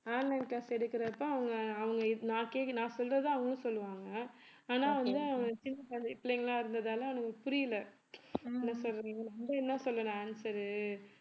online class எடுக்குறப்ப அவங்க அவங்க நான் கேக்கறத நான் சொல்றதே அவங்களும் சொல்லுவாங்க ஆனா வந்து அவன் சின்ன குழந்தை பிள்ளைங்களா இருந்ததால அவனுக்கு புரியல நான் என்ன சொல்றது நம்ம என்ன சொல்றது answer உ